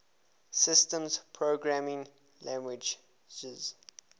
systems programming languages